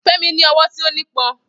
Femi ní ọwọ́ tó nípọn.